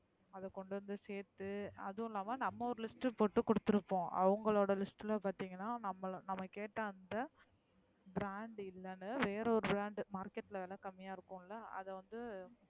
அதா கொண்டு வந்து சேத்து அதுவும் இல்லாம நம்ம ஒரு list போட்டு கொடுத்திருப்போம். அவுங்களோட list லா பாத்தீங்கன நம்ம கேட்ட அந்த brand இல்லேன்னு வேற ஒரு brand market லா விலை கம்மிய இருக்குன்லோ அதா வந்து.